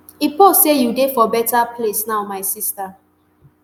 e post say you dey for beta place now my sister